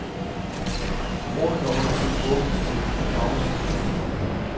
Rådet har undersøgt åbningstiderne i daginstitutioner.